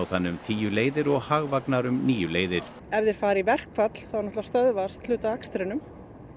þannig um tíu leiðir og Hagvagnar um níu leiðir ef þeir fara í verkfall þá stöðvast hluti af akstrinum